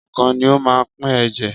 Ọkàn ni ó máa ń pín ẹ̀jẹ̀.